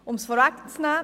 Um es vorwegzunehmen: